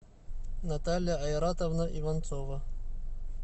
наталья айратовна иванцова